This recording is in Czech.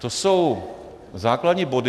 To jsou základní body...